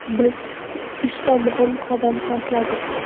Biz uchta muhim qadam tashladik.